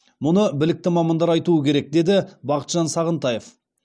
мұны білікті мамандар айтуы керек деді бақытжан сағынтаев